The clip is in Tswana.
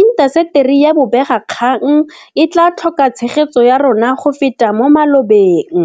intaseteri ya bobegakgang e tla tlhoka tshegetso ya rona go feta mo malobeng.